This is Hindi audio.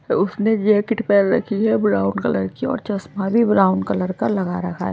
उसने जैकेट पहन रखी है ब्राउन कलर की और चश्मा भी ब्राउन कलर का लगा रखा।